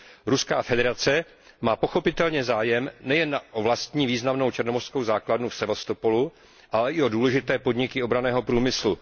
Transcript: Ruská federace má pochopitelně zájem nejen o vlastní významnou černomořskou základnu v Sevastopolu, ale i o důležité podniky obranného průmyslu.